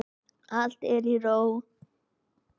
Allt er í ró.